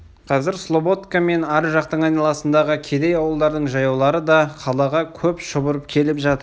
қазір слободка мен ар жақтың айналасындағы кедей ауылдардың жаяулары да қалаға көп шұбырып келіп жатыр